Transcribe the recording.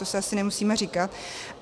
To si asi nemusíme říkat.